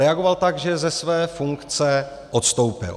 Reagoval tak, že ze své funkce odstoupil.